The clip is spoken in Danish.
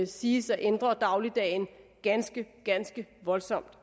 siges at ændre dagligdagen ganske ganske voldsomt